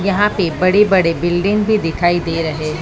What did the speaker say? यहां पे बड़े बड़े बिल्डिंग भी दिखाई दे रहे--